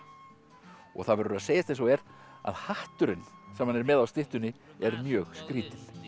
og það verður að segjast eins og er að hatturinn sem hann er með á styttunni er mjög skrýtinn